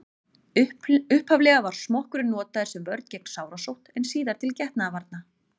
upphaflega var smokkurinn notaður sem vörn gegn sárasótt en síðar til getnaðarvarna